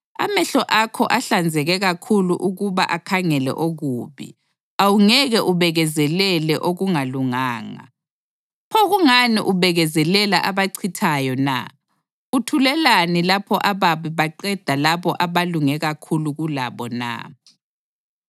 Amehlo akho ahlanzeke kakhulu ukuba akhangele okubi; awungeke ubekezelele okungalunganga. Pho kungani ubekezelela abachithayo na? Uthulelani lapho ababi beqeda labo abalunge kakhulu kulabo na?